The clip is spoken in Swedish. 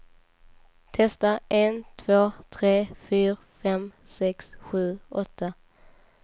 Testar en två tre fyra fem sex sju åtta.